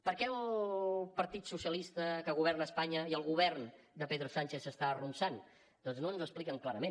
per què el partit socialista que governa espanya i el govern de pedro sánchez s’està arronsant doncs no ens ho expliquen clarament